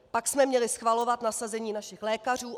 Pak jsme měli schvalovat nasazení našich lékařů.